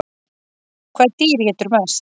Hvaða dýr étur mest?